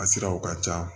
A siraw ka ca